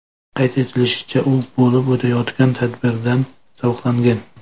Qayd etilishicha, u bo‘lib o‘tayotgan tadbirdan zavqlangan.